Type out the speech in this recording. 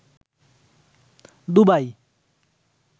Dubai